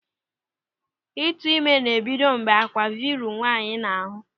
Ịtụime ná-ebido mgbe àkwà vụrụ nwaanyị n'ahụ.